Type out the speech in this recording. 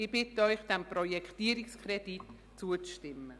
Ich bitte Sie, dem Projektierungskredit zuzustimmen.